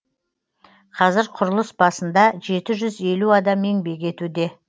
қазір құрылыс басында жеті жүз елу адам еңбек етуде